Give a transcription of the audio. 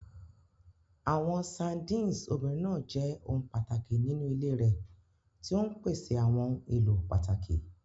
Àwọn sardines obìnrin náà jẹ́ ohun pàtàkì nínú ilé rẹ̀, tí ó ń pèsè àwọn ohun èlò pàtàkì.